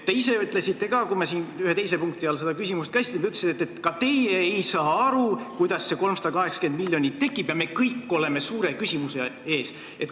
Te ise ütlesite ka, kui me siin ühe teise punkti all seda küsimust käsitlesime, et ei saa aru, kuidas see 380 miljonit tekib ja me kõik oleme suure küsimuse ees.